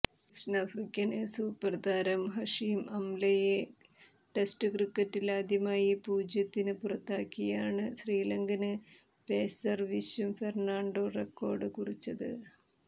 ദക്ഷിണാഫ്രിക്കന് super താരം Hashim അംലയെ test ക്രിക്കറ്റിലാദ്യമായി പൂജ്യത്തിന് പുറത്താക്കിയാണ് ശ്രീലങ്കന് പേസര് വിശ്വ ഫെര്ണാണ്ടോ റെക്കോര്ഡ് കുറിച്ചത്